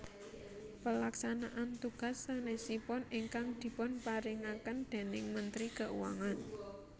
Pelaksanaan tugas sanesipun ingkang dipun paringaken déning Menteri Keuangan